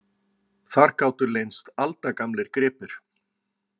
Þar gátu leynst aldagamlir gripir.